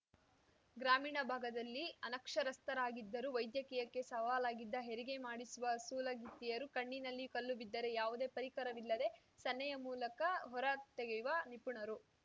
ಗ್ರಾಮೀಣ ಭಾಗದಲ್ಲಿ ಅನಕ್ಷರಸ್ಥರಾಗಿದ್ದರೂ ವೈದ್ಯಕೀಯಕ್ಕೆ ಸವಾಲಾಗಿದ್ದ ಹೆರಿಗೆ ಮಾಡಿಸುವ ಸೂಲಗಿತ್ತಿಯರು ಕಣ್ಣಿನಲ್ಲಿ ಕಲ್ಲು ಬಿದ್ದರೆ ಯಾವುದೇ ಪರಿಕರವಿಲ್ಲದೆ ಸನ್ನೆಯ ಮೂಲಕ ಹೊರ ತೆಗೆಯುವ ನಿಪುಣರು